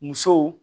Musow